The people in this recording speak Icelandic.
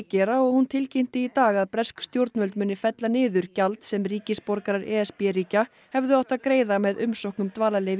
gera og hún tilkynnti í dag að bresk stjórnvöld muni fella niður gjald sem ríkisborgarar e s b ríkja hefðu átt að greiða með umsókn um dvalarleyfi